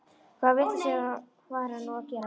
Hvaða vitleysu var hann nú að gera?